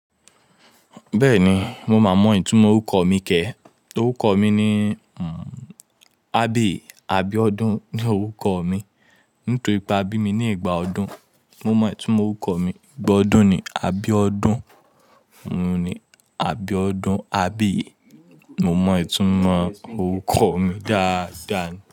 Bẹ́ẹ̀ni, mo máa mọ ìtumọ̀ orúkọ mi kẹ́. Orúkọ mi ni, Abbey Abíọ́dún ni orúkọ mi. Nítorí pé a bí mi ní ìgbà ọdún. Mo mọ ìtumọ̀ orúkọ mi. Ìgbà ọdún ni Abíọ́ọ̀dún. Abíọ́dún Abbey, mo mọ ìtumọ̀ orúkọ mi dáadáa ni.